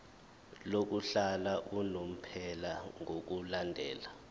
lokuhlala unomphela ngokulandela